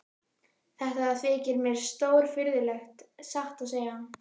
Þetta þykir mér stórfurðulegt, satt að segja.